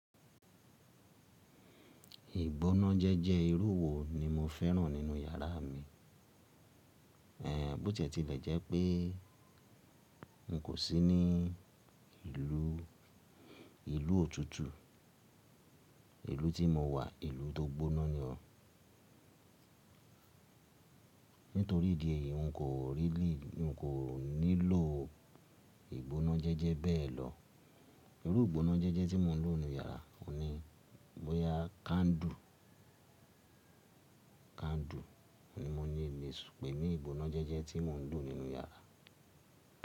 Ìgbóná jẹ́jẹ́ irú wo ni mo fẹ́ràn nínú iyàrá mi? Ẹ̀ẹ̀, bó tí ẹ ti lè jẹ́ pé n kò sí ní ìlú, ìlú òtútù, ìlú tí mo wà, ìlú tó gbóná ni ọ́. Nítorí ìdí èyí, n kò really, n ko nílò ìgbóná jẹ́jẹ́ bẹ́ẹ̀ lọ. Irú ìgbóná jẹ́jẹ́ tí mo n lò nínú yàrá, òun ni bóyá candle, candle ni mo ní le sùn pẹ́ ní ìgbóná jẹ́jẹ́ tí mo n lò nínú yàrá.